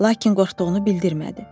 lakin qorxduğunu bildirmədi.